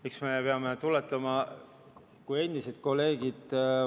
Eks me peame meelde tuletama kui endised kolleegid.